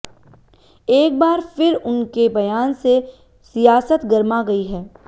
एक बार फिर उनके बयान से सियासत गरमा गई है